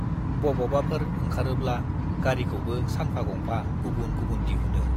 बबावबाफोर ओंखारोब्ला गारिखौबो सानफा गंफा गुबुन गुबुन दिहुनो।